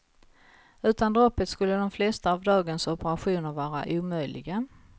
Utan droppet skulle de flesta av dagens operationer vara omöjliga.